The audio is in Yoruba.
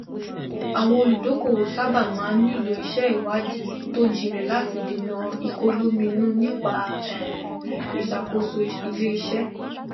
àwọn olùdókòwò sábà máa n nílò iṣẹ ìwádìí tó jinlẹ láti dènà ìkọlominú nípa um ìṣàkóso iléiṣẹ